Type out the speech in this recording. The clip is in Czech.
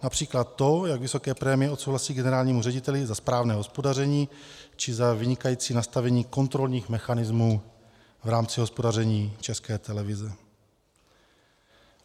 Například to, jak vysoké prémie odsouhlasí generálnímu řediteli za správné hospodaření či za vynikající nastavení kontrolních mechanismů v rámci hospodaření České televize.